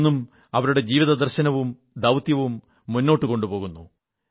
അത് ഇന്നും അവരുടെ ജീവിതദർശനവും ദൌത്യവും മുന്നോട്ടുകൊണ്ടുപോകുന്നു